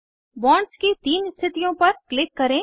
bonds की तीन स्थितियों पर क्लिक करें